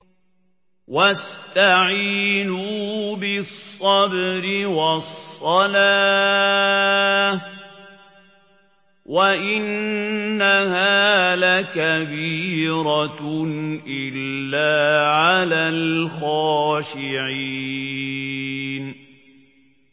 وَاسْتَعِينُوا بِالصَّبْرِ وَالصَّلَاةِ ۚ وَإِنَّهَا لَكَبِيرَةٌ إِلَّا عَلَى الْخَاشِعِينَ